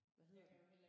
Hvad hedder den?